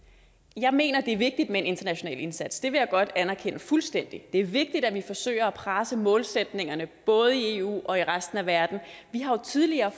jeg mener at det er vigtigt med en international indsats det vil jeg godt anerkende fuldstændig det er vigtigt at vi forsøger at presse målsætningerne både i eu og i resten af verden vi har jo tidligere